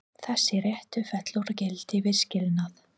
Þessi réttur fellur úr gildi við skilnað.